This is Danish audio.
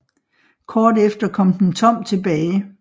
Kort efter kom den tom tilbage